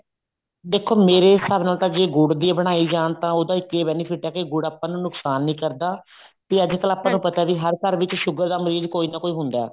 ਦੇਖੋ ਮੇਰੇ ਹਿਸਾਬ ਨਾਲ ਜੇ ਗੁੜ ਦੀ ਬਣਾਈ ਜਾਣ ਤਾਂ ਉਹਦਾ ਇੱਕ ਹੀ benefit ਆ ਕੇ ਗੁੜ ਆਪਾਂ ਨੂੰ ਨੁਕਸਾਨ ਨੀ ਕਰਦਾ ਤੇ ਅੱਜਕਲ ਆਪਾਂ ਆਪਾਂ ਨੂੰ ਪਤਾ ਵੀ ਹਰ ਘਰ ਵਿੱਚ sugar ਦਾ ਮਰੀਜ਼ ਕੋਈ ਨਾ ਕੋਈ ਹੁੰਦਾ